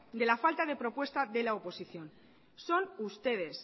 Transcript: de la falta de propuesta de la oposición son ustedes